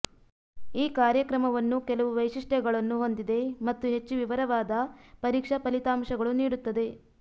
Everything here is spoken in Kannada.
ಈ ಕಾರ್ಯಕ್ರಮವನ್ನು ಕೆಲವು ವೈಶಿಷ್ಟ್ಯಗಳನ್ನು ಹೊಂದಿದೆ ಮತ್ತು ಹೆಚ್ಚು ವಿವರವಾದ ಪರೀಕ್ಷಾ ಫಲಿತಾಂಶಗಳು ನೀಡುತ್ತದೆ